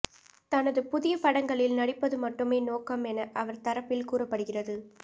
தனது புதிய படங்களில் நடிப்பது மட்டுமே நோக்கம் என அவர் தரப்பில் கூறப்படுகிறது